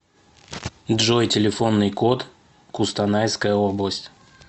джой телефонный код кустанайская область